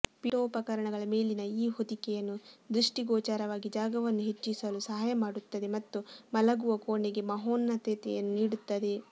ಪೀಠೋಪಕರಣಗಳ ಮೇಲಿನ ಈ ಹೊದಿಕೆಯನ್ನು ದೃಷ್ಟಿಗೋಚರವಾಗಿ ಜಾಗವನ್ನು ಹೆಚ್ಚಿಸಲು ಸಹಾಯ ಮಾಡುತ್ತದೆ ಮತ್ತು ಮಲಗುವ ಕೋಣೆಗೆ ಮಹೋನ್ನತತೆಯನ್ನು ನೀಡುತ್ತದೆ